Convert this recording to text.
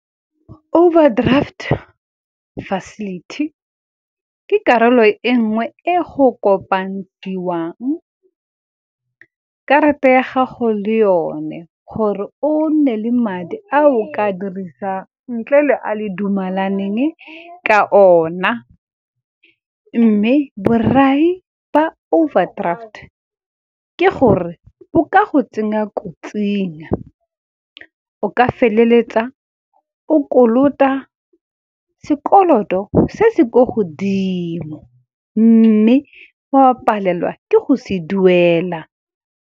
Overdraft facility ke karolo e nngwe e go kopadiwang karata ya gago le yone. Gore o nne le madi a o ka dirisang ntle le a le dumelaneng ka ona, mme borai ba overdraft ke gore bo ka go tsenya kotsing, o ka feleletsa o kolota sekoloto se se kwa godimo, mme o a palelwa ke go se duela.